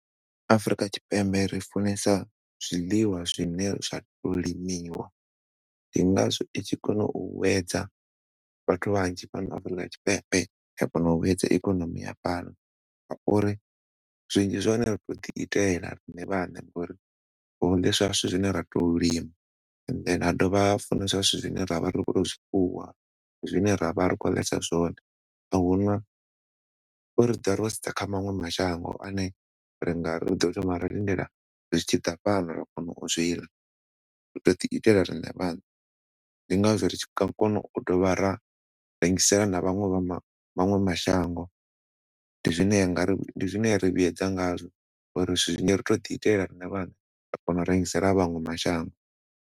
Afurika Tshipembe ri funesa zwiḽiwa zwine zwa to limiwa ndi ngazwo i tshi kona u wedza vhathu vhanzhi fhano Afurika Tshipembe ya kona wedza ikonomi ya fhano ngauri zwinzhi zwa hone ri tou ḓi itela riṋe vhaṋe ngauri ri tou lima and then ha dovha funeswa zwithu zwine ra vha ri khou tou zwifuwa zwine ra vha ri khou ḽesa zwone. Ahuna uri ri ḓovha ro sedza kha maṅwe mashango ane ri nga thoma ra lindela zwitshi ḓa fhano ra kona u zwiḽa, ri tou ḓiitela riṋe vhaṋe ndi ngazwo ri tshi kona u dovha ra rengisela na vhaṅwe vha maṅwe mashango ndi zwine ra vhuedza ngazwo ngauri zwinzhi ri tou ḓiitela riṋe vhaṋe ra kona u rengisela maṅwe mashango.